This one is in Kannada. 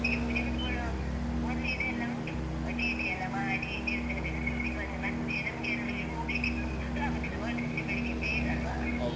ನಾವು first ಗೆ ಪೂಜೆ ಕೂತ್ಕೊಳ್ಳೊ ಮೊದ್ಲು ಇದೆಲ್ಲ ಉಂಟು ಆ ಚೀಟಿ ಎಲ್ಲ ಮಾಡಿ ದೇವಸ್ಥಾನಕ್ಕೆಲ್ಲ ಸುತ್ತಿ ಬಂದು ಮತ್ತೆ ನಮ್ಗೆ ಅಲ್ಲಿ ಹೋಗ್ಲಿಕ್ಕೆ ಪುರ್ಸೊತ್ತೂ ಆಗುದಿಲ್ಲ ಮರುದಿವ್ಸ ಬೆಳಗ್ಗೆ ಬೇಗ ಅಲ್ವಾ .